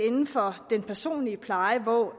inden for den personlige pleje på